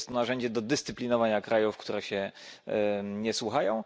Jest to narzędzie do dyscyplinowania krajów, które się nie słuchają.